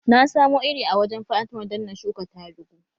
Na samo iri a wurin fatima don na shuka tarugu